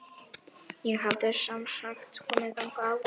Ég hafði semsagt komið þangað áður.